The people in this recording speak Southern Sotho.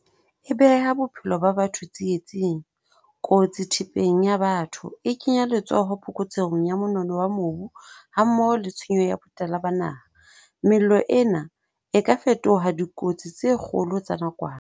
E beha bophelo ba batho tsietsing, kotsi thepeng ya batho, e kenya letsoho phokotsehong ya monono wa mobu hammoho le tshenyo ya botala ba naha. Mello ena e ka fetoha dikotsi tse kgolo tsa nakwana.